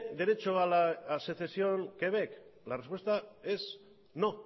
derecho a la secesión quebec la respuesta es no